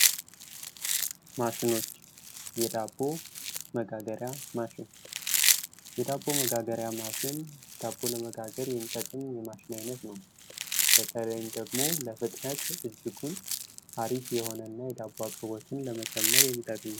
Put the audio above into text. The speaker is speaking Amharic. ማሸኖች የዳቦ መጋገሪያ ማሽን፤ የዳቦ መጋገሪያ ማሽን ዳቦ ለመጋገር የሚጠቀም የማሽን አይነት ነው። በተለይም ደግሞ ለፍጥነት እጅጉን አሪፍ የሆነና የዳቦ አቅርቦትን ለመጨመር የሚጠቅም ነው።